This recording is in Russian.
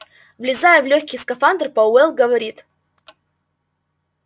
влезая в лёгкий скафандр пауэлл говорит